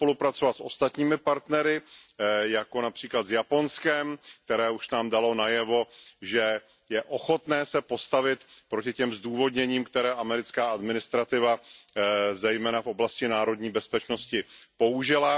tam spolupracovat s ostatními partnery, jako například s Japonskem, které už nám dalo najevo, že je ochotné se postavit proti těm zdůvodněním, které americká administrativa, zejména v oblasti národní bezpečnosti, použila.